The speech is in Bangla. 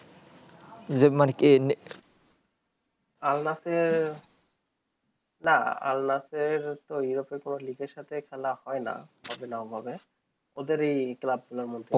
আল নাসের না আল নাসের এর তো europe এর কোনো league সাথে খেলা হয়ে না খেলা ওদেরই club গুলোর মধ্যে